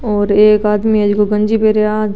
और एक आदमी जो गंजी पैरा --